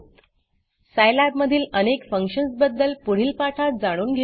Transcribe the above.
Scilabसाईलॅब मधील अनेक फंक्शन्सबद्दल पुढील पाठात जाणून घेऊ